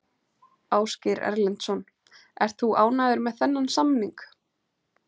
Ásgeir Erlendsson: Ert þú ánægður með þennan samning?